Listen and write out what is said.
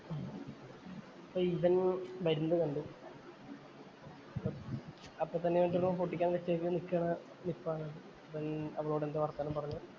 അപ്പൊ ഇതങ്ങു കണ്ടു. അപ്പൊ നിക്കണ നിപ്പാണ്. എന്തോ വര്‍ത്തമാനം പറഞ്ഞു.